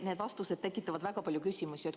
Need vastused tekitavad väga palju küsimusi.